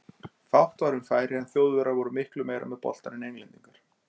Fátt var um færi en Þjóðverjar voru miklu meira með boltann en Englendingar.